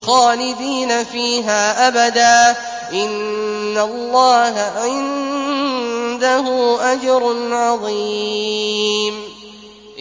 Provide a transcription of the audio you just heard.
خَالِدِينَ فِيهَا أَبَدًا ۚ إِنَّ اللَّهَ عِندَهُ أَجْرٌ عَظِيمٌ